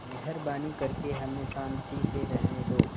मेहरबानी करके हमें शान्ति से रहने दो